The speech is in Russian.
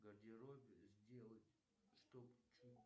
в гардеробе сделать чтобы